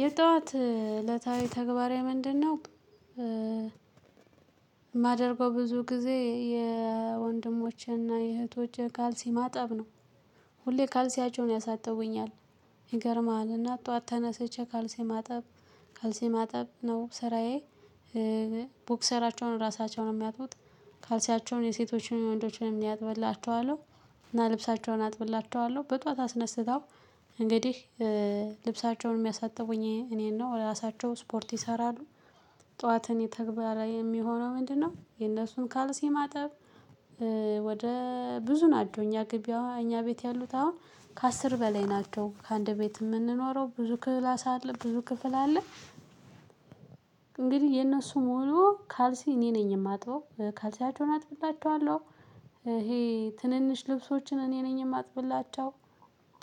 የጧት እለታዊ ተግባሬ ምንድነው? የማደርገው ብዙ ጊዜ የወንድሞቼን እና የእህቶቼን ካልሲ ማጠብ ነው። ሁሌ ካልሲያቸውን ያሳጥቡኛል። ይገርማል አና ጠዋት ተነስቼ ካልሲ ማጠብ ነው ስራዬ። ቦክሰራቸውን ራሳቸውን ነው የሚያጥቡት ካልሲያቸውን የሴቶችን ወንዶችንም እኔ አጥብላቸዋለሁ። እና ልብሳቸውን አጥብላቸዋለሁ በጧት አስነስተው እንግዲህ ልብሳቸውን የሚያሳጥቡኝ እኔን ነው ራሳቸው ስፖርት ይሰራሉ። ጠዋትንየኔ ተግባር የሚሆነው ምንድነው? የነሱን ካልሲ ማጠብ። ወደ ብዙ ናቸው እኛ ግቢ አሁን እኛ ቤት ያሉት አሁን ከአስር በላይ ናቸው አንድ ቤት የምንኖረው ብዙ ክላስ አለ ብዙ ክፍል አለ። የነሱን ሙሉ ካልሲ እኔ ነኝ የማጥበው ካልሲያቸውን አጥብላቸዋለሁ። ይሄ ትንንሽ ልብሶችን እኔ ነኝ የማጥብላቸው።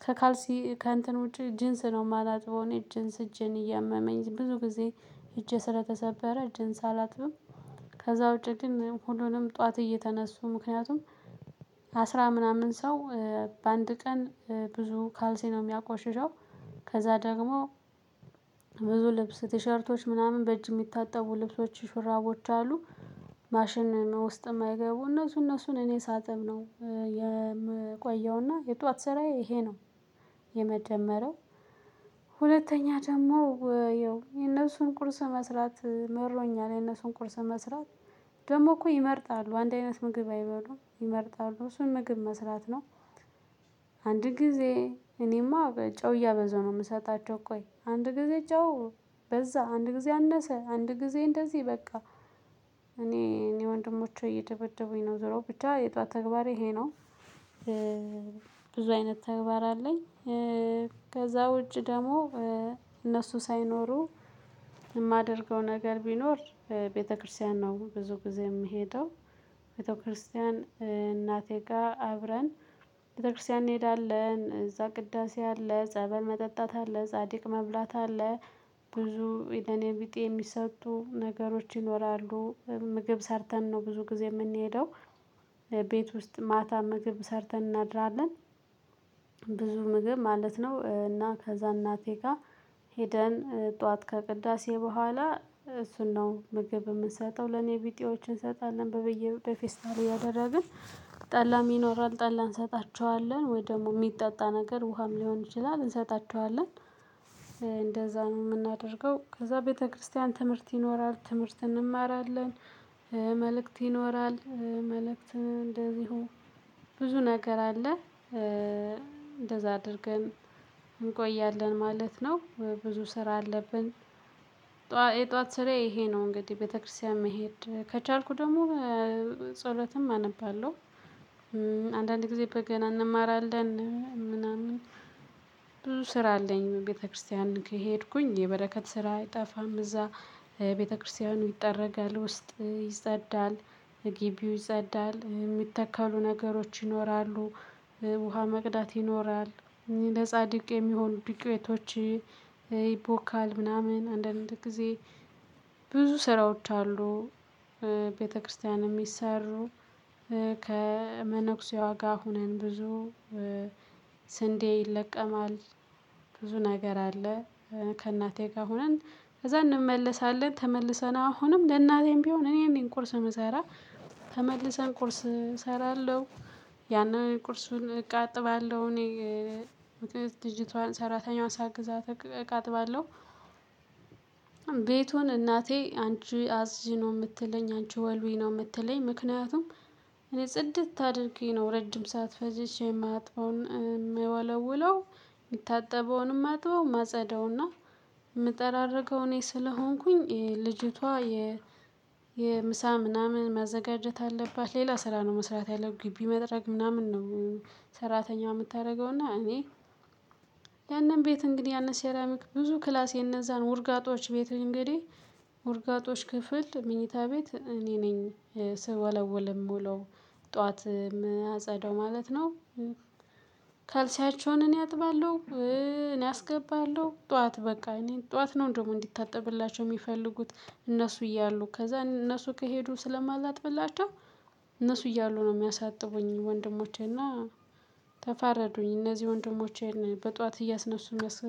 ከካልሲ ከእንትን ውጪ ጅንስ ነው የማላጥበው ጅንስ እጄን እያመመኝ ብዙ ጊዜ እጄ ስለተሰበረ ጅንስ አላጥብም። ከዛው ዉጭ ግን ሁሉንም ጠዋት እየተነሱ ምክንያቱም አስራ ምናምን ሰው በአንድ ቀን ብዙ ካልሲ ነው የሚያቆሽሸው። ከዛ ደግሞ ብዙ ልብስ ቲሸርቶች ምናምን በእጅ የሚታጠቡ ልብሶች ሹራቦች አሉ። ማሽን ውስጥም የማይገቡ እነሱ እነሱን እኔ ሳጥብ ነው የምቆየውና የጧት ስራዬ ይሄ ነው። የመጀመሪያው ሁለተኛ ደግሞ ያው የነሱን ቁርስ መስራት መሮኛል ነው የነሱን ቁርስ መስራት ደግሞ እኮ ይመርጣሉ አንድ አይነት ምግብ አይበሉም ይመርጣሉ እሱን ምግብ መስራት ነው። አንድ ጊዜ እኔማ በጨው እያበዛሁ ነው የምሰጣቸው ቆይ አንድ ጊዜ ጨው በዛ አንድ ጊዜ አነሰ አንድ ጊዜ እንደዚህ በቃ እኔ ወንድሞቼ እየደበደቡኝ ነው ዙሮ ብቻ የጧት ተግባሬ ይሄ ነው። ብዙ አይነት ተግባር አለኝ። ከዛ ውጪ ደግሞ እነሱ ሳይኖሩ የማደርገው ነገር ቢኖር ቤተክርስቲያን ነው ብዙ ጊዜ የምሄደው። ቤተክርስቲያን እናቴ ጋር አብረን ቤተክርስቲያን እንሄዳለን እዛ ቅዳሴ አለ ጸበል መጠጣት አለ ጻድቅ መብላት አለ። ብዙ ለኔቢጤ የሚሰጡ ነገሮች ይኖራሉ ምግብ ሰርተን ነው ብዙ ጊዜ የምንሄደው። ቤት ውስጥ ማታ ምግብ ሰርተን እናድራለን። ብዙ ምግብ ማለት ነው እና ከዛ እናቴ ጋር ሄደን ጠዋት ከቅዳሴ በኋላ እሱን ነው ምግብ የምንሰጠው ለኔ ቢጤዎች እንሰጣለን በፌስታል እያደረግን። ጠላም ይኖራል ጠላን እንሰጣቸዋለን ወይ ደግሞ የሚጠጣ ነገር ውሃም ሊሆን ይችላል እንሰጣቸዋለን። እንደዛ ነው የምናደርገው ከዛ ቤተክርስቲያን ትምህርት ይኖራል ትምህርት እንማራለን። መልእክት ይኖራል መልእክት እንደዚሁ ብዙ ነገር አለ። እንደዛ አድርገን እንቆያለን ማለት ነው። ብዙ ስራ አለብን። የጧት ስራ ይሄ ነው እንግዲህ ቤተክርስቲያን መሄድ ከቻልኩ ደግሞ ጸሎትም አነባለሁ። አንዳንድ ጊዜ በገና እንማራለን ምናምን። ብዙ ስራ አለኝ ቤተክርስቲያን ከሄድኩኝ የበረከት ስራ አይጠፋም እዛ። ይጠረጋል ውስጥ ይጸዳል። ግቢው ይጸዳል የሚተከሉ ነገሮች ይኖራሉ። ውሃ መቅዳት ይኖራል። ለጻድቅ የሚሆኑ ዱቄቶች ይቦካሉ ምናምን አንዳንድ ጊዜ ብዙ ስራዎች አሉ። ቤተክርስቲያንም የሚሰሩ ከመነኩሴዋ ጋር ሆነን ብዙ ስንዴ ይለቀማል። ብዙ ነገር አለ። ከእናቴ ጋር ሆነን ከዛ እንመለሳለን ተመልሰን አሁንም ለእናቴም ቢሆን እኔን ቁርስ የምሰራ ተመልሰን ቁርስ እሰራለሁ። ያንን ቁርሱን እቃ አጥባለሁ እኔ እኔ ልጅቶቷን ሰራተኛዋን ሰግዛት እቃ አጥባለሁ። ቤቱን እናቴ አንቺ አፅጂ ነው የምትለኝ አንቺ ወልዊ ነው የምትለኝ ምክንያቱም እኔ ጽድት አድርጊ ነው ረጅም ሰዓት ፈጅቼ የምወለውለው የምታጠበውንም አጥበው ማጸዳውና። የምጠራርገው እኔ ስለሆንኩኝ ልጅቷ የ የምሳ ምናምን ማዘጋጀት አለባት ሌላ ስራ ነው መስራት ያለው ግቢ መድረክ ምናምን ነው። ሰራተኛው የምታደርገው እና እኔ ያንን ቤት እንግዲህ ያንን ሴራሚክ ብዙ ክላስ የእነዛን ውርጋጦች ቤት እንግዲህ ውርጋጦች ክፍል የመኝታ ቤት እኔ ነኝ ስወለዉል የምዉለው ጠዋት የማጸዳው ማለት ነው። ካልሲያቸውን እኔ አጥባለሁ። እኔ አስገባለሁ ጠዋት በቃ እኔ ጠዋት ነው እንደውም እንዲታጠብላቸው የሚፈልጉት እነሱ እያሉ ከዛ እነሱ ከሄዱ ስለማላትበላቸው። እነሱ እያሉ ነው የሚያሳጥቡኝ ወንድሞቼና። ተፋረዱኝ እነዚህ ወንድሞቼን በጧት እያስነሱ የሚያስ